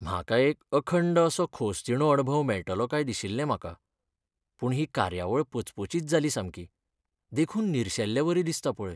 म्हाका एक अखंड असो खोसदिणो अणभव मेळटलो काय दिशिल्लें म्हाका, पूण ही कार्यावळ पचपचीत जाली सामकी, देखून निर्शेल्लेवरी दिसता पळय.